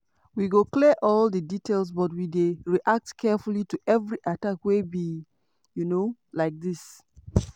"we go clear all di details but we dey react carefully to every attack wey be um like dis."